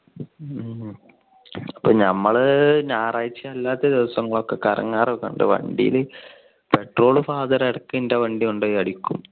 നമ്മൾ ഞായറാഴ്ച്ച അല്ലാത്ത ദിവസങ്ങളിൽ ഒക്കെ കറങ്ങാറോക്കെ ഉണ്ട് വണ്ടിയിൽ petrolfather ഇറക്കും എന്റെ വണ്ടി കൊണ്ടുപോയി അടിക്കും.